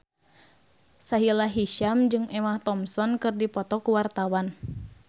Sahila Hisyam jeung Emma Thompson keur dipoto ku wartawan